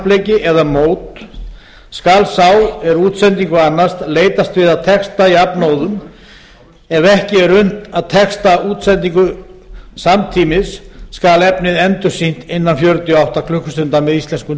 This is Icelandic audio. íþróttakappleiki eða mót skal sá er útsendingu annast leitast við að texta jafnóðum ef ekki er unnt að texta útsendingu samtímis skal efnið endursýnt innan fjörutíu og átta klukkustunda með íslenskum